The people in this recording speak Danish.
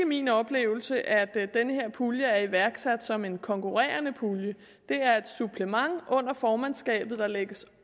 min oplevelse at den her pulje er iværksat som en konkurrerende pulje det er et supplement under formandskabet der lægges